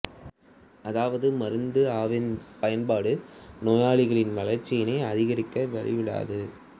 அதாவது மருந்து அ வின் பயன்பாடு நோயாளிகளின் வளர்ச்சியினை அதிகரிக்க வழிவிடாது